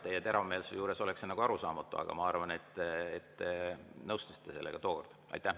Teie teravmeelsuse juures oleks see nagu arusaamatu, aga ma arvan, et te nõustusite sellega tookord.